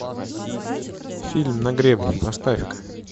фильм на гребне поставь ка